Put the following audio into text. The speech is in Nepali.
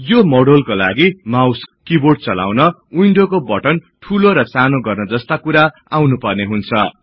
यो मोडिउलका लागि माउस किबोर्ड चलाउन विन्डोको बटन ठूलो र सानो गर्न जस्ता कुरा आउनुपर्ने हुन्छ